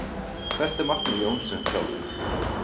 Hvert er markmið Jóns sem þjálfara?